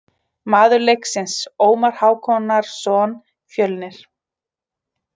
Maður leiksins: Ómar Hákonarson, Fjölnir.